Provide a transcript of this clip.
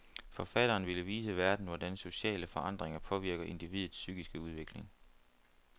Forfatteren ville vise verden, hvordan sociale forandringer påvirker individets psykiske udvikling.